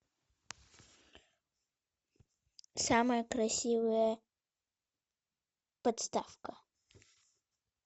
самая красивая подставка